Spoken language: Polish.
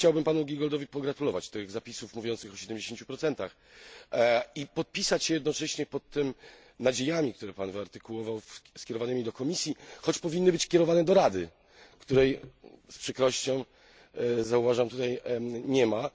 Chciałbym panu Giegoldowi pogratulować tych zapisów mówiących o 70 i podpisać się jednocześnie pod tymi nadziejami, które Pan wyartykułował, skierowanymi do Komisji, choć powinny być kierowane do Rady, której z przykrością zauważam tutaj nie ma.